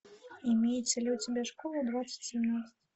имеется ли у тебя школа двадцать семнадцать